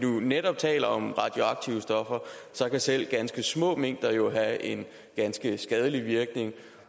netop taler om radioaktive stoffer kan selv ganske små mængder jo have en ganske skadelig virkning